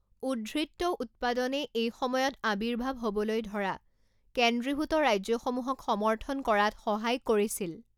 উদ্বৃত্ত উৎপাদনে এই সময়ত আৱিৰ্ভাৱ হ'বলৈ ধৰা কেন্দ্ৰীভূত ৰাজ্যসমূহক সমৰ্থন কৰাত সহায় কৰিছিল।